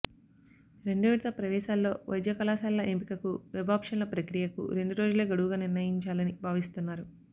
రెండోవిడత ప్రవేశాల్లో వైద్యకళాశాలల ఎంపికకు వెబ్ఆప్షన్ల ప్రక్రియకు రెండు రోజులే గడువుగా నిర్ణయించాలని భావిస్తున్నారు